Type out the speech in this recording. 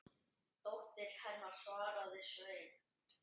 Dóttir hennar, svaraði Sveinn.